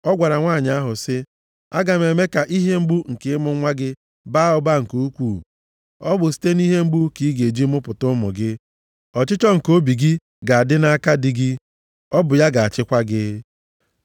Ọ gwara nwanyị ahụ sị ya, “Aga m eme ka ihe mgbu nke ịmụ nwa gị baa ụba nke ukwuu, ọ bụ site nʼihe mgbu ka ị ga-eji mụpụta ụmụ gị. Ọchịchọ nke obi gị ga-adị nʼaka di gị, ọ bụ ya ga-achịkwa gị.”